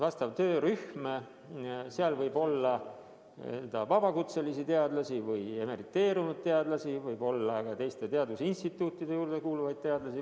Seal võib olla vabakutselisi teadlasi ja emeriteerunud teadlasi, võib olla mitmes teadusinstituudis töötavaid teadlasi.